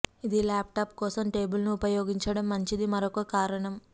ఇది ల్యాప్టాప్ కోసం టేబుల్ ను ఉపయోగించడం మంచిది మరొక కారణం